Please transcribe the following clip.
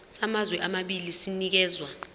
samazwe amabili sinikezwa